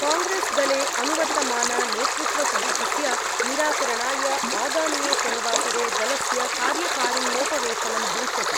कांग्रेस्दले अनुवर्तमाननेतृत्वसङ्कटस्य निराकरणाय आगामिने शनिवासरे दलस्य कार्यकारिण्योपवेशनं भविष्यति।